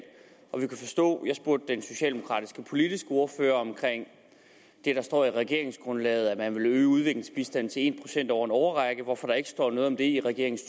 og vi kunne forstå jeg spurgte den socialdemokratiske politiske ordfører om det der står i regeringsgrundlaget at man ville øge udviklingsbistanden til en procent over en årrække hvorfor står der ikke noget om det i regeringens